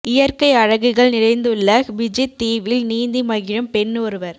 இயற்கை அழகுகள் நிறைந்துள்ள ஃபிஜித் தீவில் நீந்தி மகிழும் பெண் ஒருவர்